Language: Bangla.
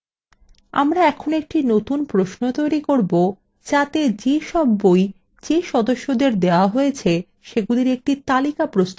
আমরা এখন একটি নতুন প্রশ্ন তৈরী করব যাতে যে সব বই যে সদস্যদের দেওয়া হয়েছে সেগুলির একটি তালিকা প্রস্তুত করা have